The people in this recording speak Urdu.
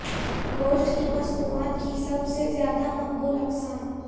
گوشت کی مصنوعات کی سب سے زیادہ مقبول اقسام